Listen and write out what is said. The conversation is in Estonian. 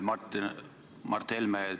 Mart Helme!